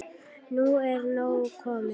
Nú er nóg komið.